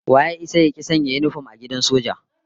Wa ya isa ya ki sanya yinifom a gidan soja?